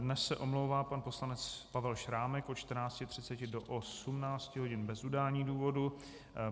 Dnes se omlouvá pan poslanec Pavel Šrámek od 14.30 do 18 hodin bez udání důvodu.